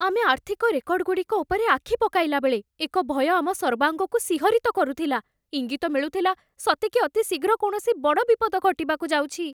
ଆମେ ଆର୍ଥିକ ରେକର୍ଡଗୁଡ଼ିକ ଉପରେ ଆଖି ପକାଇଲା ବେଳେ, ଏକ ଭୟ ଆମ ସର୍ବାଙ୍ଗକୁ ଶିହରିତ କରୁଥିଲା, ଇଙ୍ଗିତ ମିଳୁଥିଲା ସତେକି ଅତି ଶୀଘ୍ର କୌଣସି ବଡ଼ ବିପଦ ଘଟିବାକୁ ଯାଉଛି।